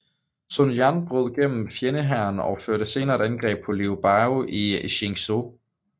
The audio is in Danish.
Sun Jian brød gennem fjendehæren og førte senere et angreb på Liu Biao i Jingzhou